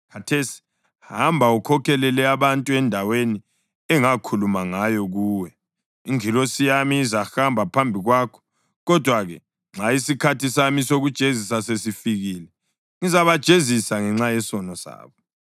Khathesi hamba, ukhokhelele abantu endaweni engakhuluma ngayo kuwe. Ingilosi yami izahamba phambi kwakho. Kodwa-ke nxa isikhathi sami sokujezisa sesifikile, ngizabajezisa ngenxa yesono sabo.”